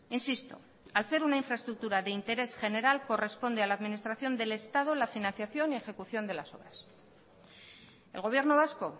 insisto al ser una infraestructura de interés general corresponde a la administración del estado la financiación y ejecución de las obras el gobierno vasco